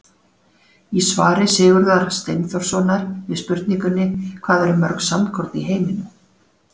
Í svari Sigurðar Steinþórssonar við spurningunni Hvað eru mörg sandkorn í heiminum?